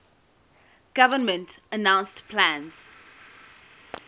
government announced plans